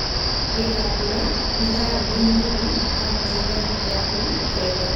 Gikambura nĩ taũni nini Kauntĩ-inĩ ya Kiambu, Kenya.